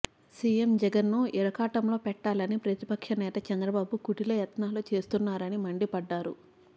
CM జగన్ను ఇరకాటంలో పెట్టాలని ప్రతిపక్ష నేత చంద్రబాబు కుటిల యత్నాలు చేస్తున్నారని మండిపడ్డారు